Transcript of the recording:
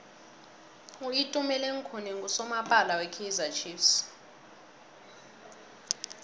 utumeleng khune nqusomapala we kaizer chiefs